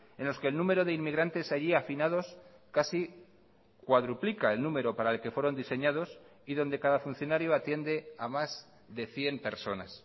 en los que el número de inmigrantes allí afinados casi cuadruplica el número para el que fueron diseñados y donde cada funcionario atiende a más de cien personas